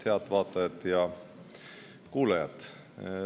Head vaatajad ja kuulajad!